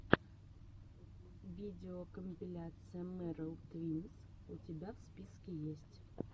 видеокомпиляция меррел твинс у тебя в списке есть